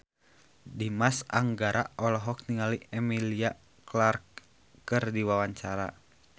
Dimas Anggara olohok ningali Emilia Clarke keur diwawancara